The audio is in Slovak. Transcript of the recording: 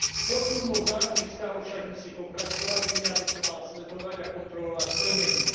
Posun vo vzájomných vzťahoch však musí pokračovať, Únia by to mala sledovať a kontrolovať plnenie.